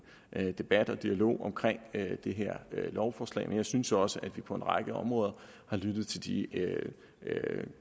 debat og dialog omkring det her lovforslag men jeg synes også at vi på en række områder har lyttet til de